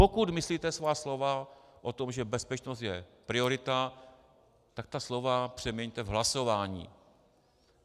Pokud myslíte svá slova o tom, že bezpečnost je priorita, tak ta slova přeměňte v hlasování.